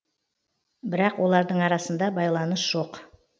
бірақ олардың арасында байланыс жоқ